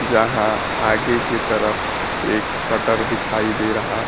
जहां आगे की तरफ एक शटर दिखाई दे रहा--